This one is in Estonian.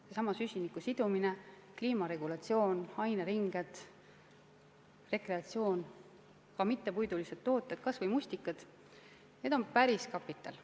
Seesama süsiniku sidumine, kliimaregulatsioon, aineringed, rekreatsioon, ka mittepuidulised tooted, kas või mustikad – need on päriskapital.